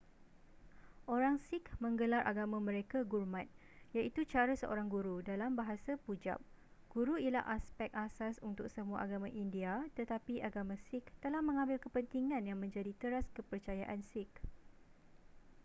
orang sikh menggelar agama mereka gurmat iaitu cara seorang guru dalam bahasa pujab guru ialah aspek asas untuk semua agama india tetapi agama sikh telah mengambil kepentingan yang menjadi teras kepercayaan sikh